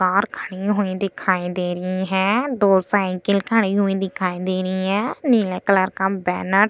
car खड़ी हुई दिखाई दे रही है दो साईकल खड़ी हुई दिखाई दे रही है नीले कलर का बैनर --